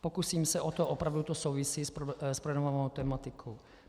Pokusím se o to, opravdu to souvisí s projednávanou tematikou.